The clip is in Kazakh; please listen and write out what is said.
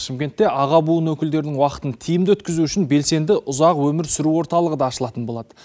шымкентте аға буын өкілдерінің уақытын тиімді өткізу үшін белсенді ұзақ өмір сүру орталығы да ашылатын болады